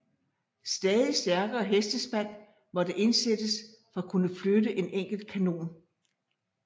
Stadig stærkere hestespand måtte indsættes for at kunne flytte en enkelt kanon